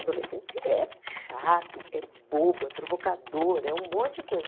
Adolescente é chato, é bobo, é provocador, é um monte de